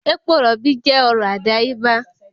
Epo rọ̀bì jẹ́ ọrọ̀ àdáyébá